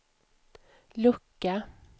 lucka